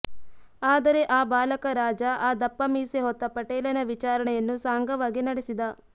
ಆದರೆ ಆ ಬಾಲಕರಾಜ ಆ ದಪ್ಪ ಮೀಸೆ ಹೊತ್ತ ಪಟೇಲನ ವಿಚಾರಣೆಯನ್ನು ಸಾಂಗವಾಗಿ ನಡೆಸಿದ